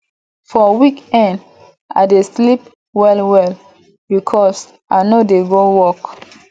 for weekend i dey sleep wellwell because i no dey go work